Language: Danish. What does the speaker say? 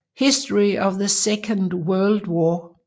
History of the Second World War